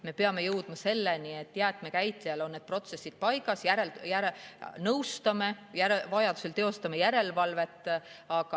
Me peame jõudma selleni, et jäätmekäitlejal on protsessid paigas, meie nõustame ja vajaduse korral teeme järelevalvet.